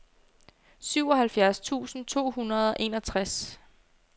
syvoghalvfjerds tusind to hundrede og enogtres